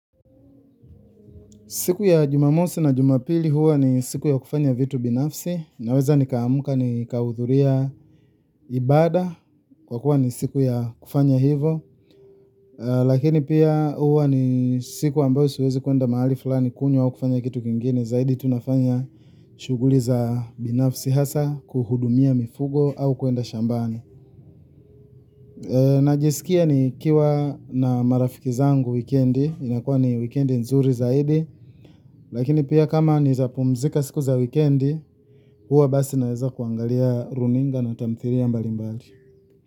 Siku ya Jumamosi na Jumapili huwa ni siku za kufanya vitu binafsi. Naweza nikaamka nikaudhuria ibada kwa kuwa ni siku ya kufanya hivo. Lakini pia huwa ni siku ambayo suwezi kwenda mahali fulani kunywa au kufanya kitu kingine. Zaidi tunafanya shughuli za binafsi, hasa kuhudumia mifugo au kwenda shambani. Najisikia nikiwa na marafiki zangu wikiendi. Inakuwa ni wikiendi nzuri zaidi. Lakini pia kama nawezapumzika siku za wikiendi. Huwa basi naweza kuangalia runinga na tamthilia mbalimbali.